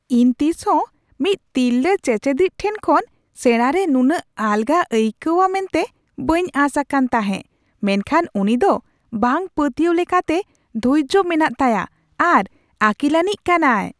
ᱤᱧ ᱛᱤᱥᱦᱚᱸ ᱢᱤᱫ ᱛᱤᱨᱞᱟᱹ ᱪᱮᱪᱮᱫᱤᱡᱽ ᱴᱷᱮᱱ ᱠᱷᱚᱱ ᱥᱮᱸᱲᱟ ᱨᱮ ᱱᱩᱱᱟᱹᱜ ᱟᱞᱜᱟ ᱟᱹᱭᱠᱟᱹᱣᱟᱹ ᱢᱮᱱᱛᱮ ᱵᱟᱹᱧ ᱟᱸᱥ ᱟᱠᱟᱱ ᱛᱟᱦᱮᱸᱜ, ᱢᱮᱱᱠᱷᱟᱱ ᱩᱱᱤ ᱫᱚ ᱵᱟᱝᱼᱯᱟᱹᱛᱭᱟᱹᱣ ᱞᱮᱠᱟᱛᱮ ᱫᱷᱳᱨᱡᱳ ᱢᱮᱱᱟᱜ ᱛᱟᱭᱟ ᱟᱨ ᱟᱹᱠᱤᱞᱟᱹᱱᱤᱡ ᱠᱟᱱᱟᱭ ᱾